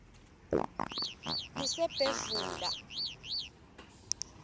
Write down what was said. ngisebhevula